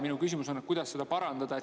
Minu küsimus on, kuidas seda parandada.